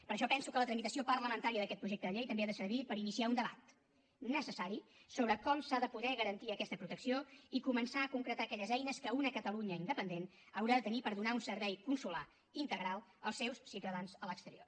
per això penso que la tramitació parlamentària d’aquest projecte de llei també ha de servir per iniciar un debat necessari sobre com s’ha de poder garantir aquesta protecció i començar a concretar aquelles eines que una catalunya independent haurà de tenir per donar un servei consolar integral als seus ciutadans a l’exterior